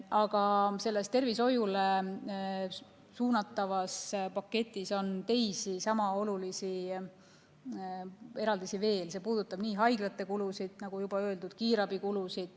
Aga tervishoiule suunatavas paketis on teisi sama olulisi eraldisi veel, need puudutavad nii haiglate kulusid, nagu juba öeldud, kiirabikulusid.